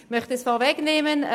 Ich möchte es vorwegnehmen: